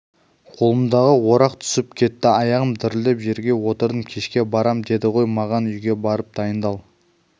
қолымдағы орақ түсіп кетті аяғым дірілдеп жерге отырдым кешке барам деді ғой маған үйге барып дайындал